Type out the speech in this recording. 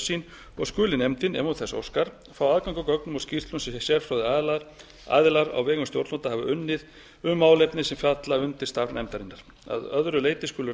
sín og skuli nefndin ef hún þess óskar fá aðgang að gögnum og skýrslum sem sérfróðir aðilar á vegum stjórnvalda hafa unnið um málefni sem falla undir starf nefndarinnar að öðru leyti skulu